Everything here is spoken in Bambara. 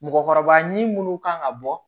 Mɔgɔkɔrɔba ɲin minnu kan ka bɔ